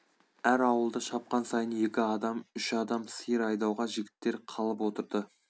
әр ауылды шапқан сайын екі адам үш адам сиыр айдауға жігіттер қалып отырды